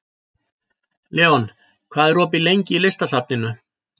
Leon, hvað er opið lengi í Listasafninu?